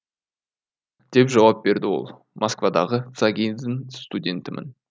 деп жауап берді ол москвадағы цаги дің студентімін